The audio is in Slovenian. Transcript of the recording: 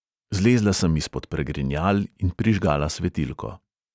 Zlezla sem izpod pregrinjal in prižgala svetilko.